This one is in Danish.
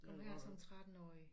Kom her som 13-årig